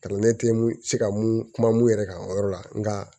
Kalanden tɛ mun se ka mun kuma mun yɛrɛ kan o yɔrɔ la nka